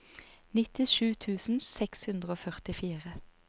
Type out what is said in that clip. nittisju tusen seks hundre og førtifire